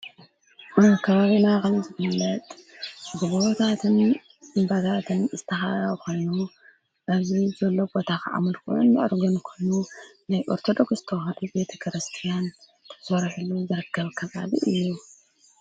አብ ከባቢና ከም ዝፍለጥብ ጎቦታትን እምባታትን ዝተከበበ ኾይኑ እዙ ዘሎ ቦታ ሙልኩዖን ሙኣርገን ኮኑ ናይ ኦርተዶክስ ተውህዶ ቤተ ክርስትያን ተሠርሕሉ ዘረከብ ከባቢ እዩ፡፡